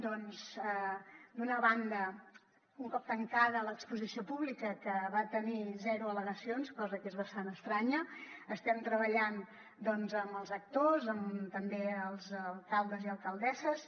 d’una banda un cop tancada l’exposició pública que va tenir zero al·legacions cosa que és bastant estranya estem treballant doncs amb els actors també els alcaldes i alcaldesses